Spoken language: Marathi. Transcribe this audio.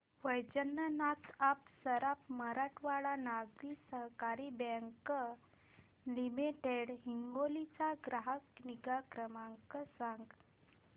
वैजनाथ अप्पा सराफ मराठवाडा नागरी सहकारी बँक लिमिटेड हिंगोली चा ग्राहक निगा क्रमांक सांगा